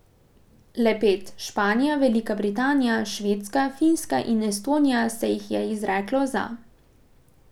Le pet, Španija, Velika Britanija, Švedska, Finska in Estonija, se jih je izreklo za.